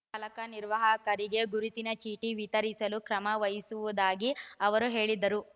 ಚಾಲಕ ನಿರ್ವಾಹಕರಿಗೆ ಗುರುತಿನ ಚೀಟಿ ವಿತರಿಸಲು ಕ್ರಮ ವಹಿಸುವುದಾಗಿ ಅವರು ಹೇಳಿದರು